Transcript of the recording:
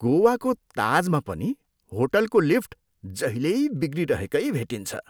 गोवाको ताजमा पनि होटलको लिफ्ट जहिल्यै बिग्रिरहेकै भेटिन्छ।